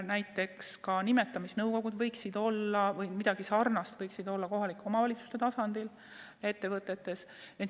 Näiteks võiksid olla nimetamisnõukogud või midagi sarnast ka kohalike omavalitsuste tasandil, ettevõtetes.